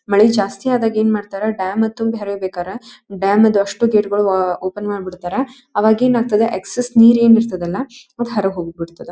ಮಳೆ ಜಾಸ್ತಿ ಆದಾಗ ಏನ್ ಮಾಡ್ತಾರ ಡ್ಯಾಮ್ ತುಂಬಿ ಹರೀಬೇಕರ ಡ್ಯಾಮ್ ದು ಅಷ್ಟು ಗೇಟ್ ಗಳು ಓಪನ್ ಮಾಡಿ ಬಿಡ್ತಾರಾ ಅವಾಗ್ ಏನ್ ಆಗ್ತದ ಎಕ್ಸೆಸ್ ನೀರ್ ಏನ್ ಇರ್ತದಲ್ಲ ಅದ್ ಹೊರ್ಗ್ ಹೋಗ್ ಬಿಡ್ತದ.